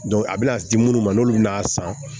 a bɛna di munnu ma n'olu bina san